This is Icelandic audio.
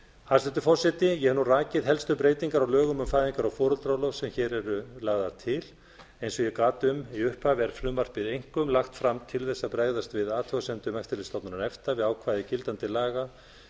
hæstvirtur forseti ég hef nú rakið helstu breytingar á lögum um fæðingar og foreldraorlof sem hér eru lagðar til eins og ég gat um í upphafi er frumvarpið einkum lagt fram til þess að bregðast við athugasemdum eftirlitsstofnunar efta við ákvæði gildandi laga